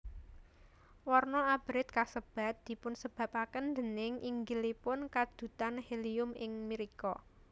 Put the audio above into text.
Warna abrit kasebat dipunsebabaken déning inggilipun kandhutan helium ing mrika